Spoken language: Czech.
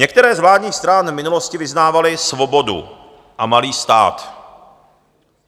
Některé z vládních stran v minulosti vyznávaly svobodu a malý stát.